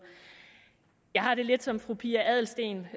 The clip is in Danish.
jeg har det lidt som fru pia adelsteen